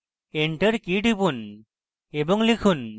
enter key টিপুন এবং লিখুন: